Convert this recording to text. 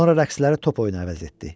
Sonra rəqsləri top oyunu əvəz etdi.